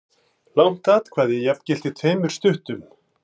Langt atkvæði jafngilti tveimur stuttum.